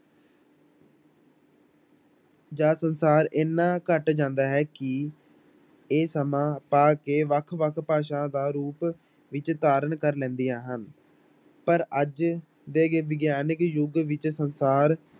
ਜਾਂ ਸੰਸਾਰ ਇੰਨਾ ਘੱਟ ਜਾਂਦਾ ਹੈ ਕਿ ਇਹ ਸਮਾਂ ਪਾ ਕੇ ਵੱਖ ਵੱਖ ਭਾਸ਼ਾ ਦਾ ਰੂਪ ਵਿੱਚ ਧਾਰਨ ਕਰ ਲੈਂਦੀਆਂ ਹਨ, ਪਰ ਅੱਜ ਦੇ ਵਿਗਿਆਨਕ ਯੁਗ ਵਿੱਚ ਸੰਸਾਰ